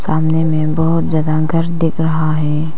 सामने में बहुत ज्यादा घर दिख रहा है।